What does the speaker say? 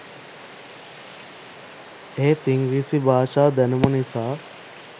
එහෙත් ඉංග්‍රීසි භාෂා දැනුම නිසා